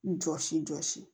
Jɔsi jɔsi